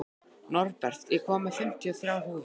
Norbert, ég kom með fimmtíu og þrjár húfur!